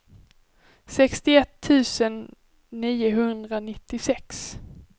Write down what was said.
sextioett tusen niohundranittiosex